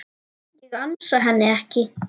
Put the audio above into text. Ég ansa henni ekki.